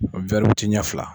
ɲa fila.